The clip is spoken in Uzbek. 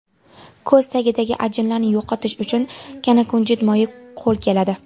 Ko‘z tagidagi ajinlarni yo‘qotish uchun kanakunjut moyi qo‘l keladi.